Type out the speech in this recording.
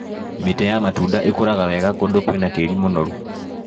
Mĩtĩ ya matunda ĩkũraga wega kũndũ kwĩna tĩri mũnoru.